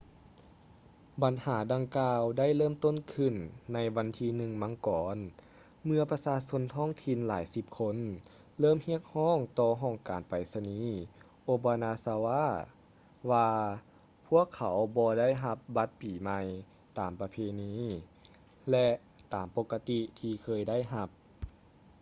ບັນຫາດັ່ງກ່າວໄດ້ເລີ່ມຕົ້ນຂື້ນໃນວັນທີ 1 ມັງກອນ ເມື່ອປະຊາຊົນທ້ອງຖິ່ນຫຼາຍສິບຄົນເລີ່ມຮ້ອງຮຽນຕໍ່ຫ້ອງການໄປສະນີ obanazawa ວ່າພວກເຂົາບໍ່ໄດ້ຮັບບັດປີໃໝ່ຕາມປະເພນີ ແລະ ຕາມປົກກະຕິທີ່ເຄີຍໄດ້ຮັບ